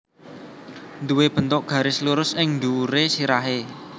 Nduwé bentuk garis lurus ing dhuwuré sirahé